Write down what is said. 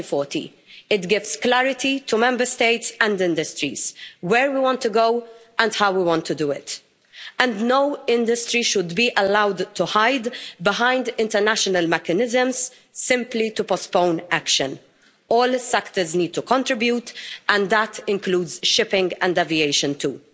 2040. It gives clarity to Member States and industries where we want to go and how we want to do it, and no industry should be allowed to hide behind international mechanisms simply to postpone action. All sectors need to contribute, and that includes shipping and aviation too.